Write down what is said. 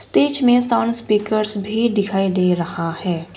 Stage मे sound speakers भी दिखाई दे रहा है।